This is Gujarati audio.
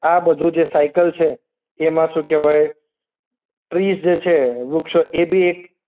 આ બધું જે સાયકલ છે એમાં શું કહેવાય? ટ્રિઝ જે છે વૃક્ષો એ બી એક